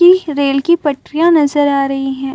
Rail की पड़रिया नजर आ रही है।